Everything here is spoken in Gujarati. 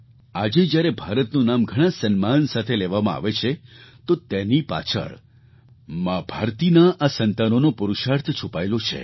આજે જ્યારે ભારતનું નામ ઘણા સન્માન સાથે લેવામાં આવે છે તો તેની પાછળ મા ભારતીના આ સંતાનોનો પુરુષાર્થ છુપાયેલો છે